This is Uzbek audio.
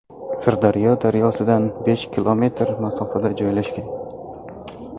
Sirdaryo daryosidan besh kilometr masofada joylashgan.